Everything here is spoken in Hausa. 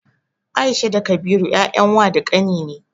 Aisha da Kabiru 'ya'yan wa da ƙani ne.